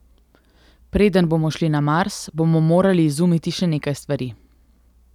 Preden bomo šli na Mars, bomo morali izumiti še nekaj stvari.